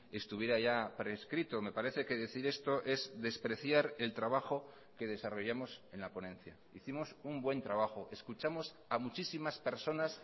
estuviera ya prescrito me parece que decir esto es despreciar el trabajo que desarrollamos en la ponencia hicimos un buen trabajo escuchamos a muchísimas personas